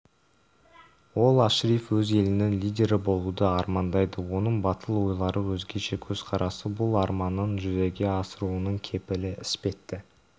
ол ашриф өз елінің лидері болуды армандайды оның батыл ойлары өзгеше көзқарасы бұл арманын жүзеге асыруының кепілі іспетті